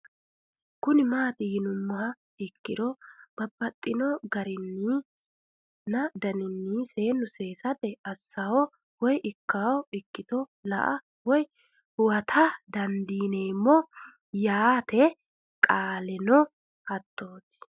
Kuni mati yinumoha ikiro babaxino raginina danin senu sesate asao woyi ikano ikito la'a woyi huwata dandinemo yaate qoleno hatoti